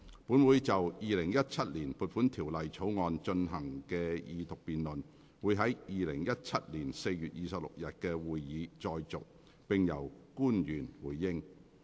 本會就《2017年撥款條例草案》進行的二讀辯論會在2017年4月26日的會議再續，並由官員回應。